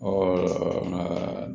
nka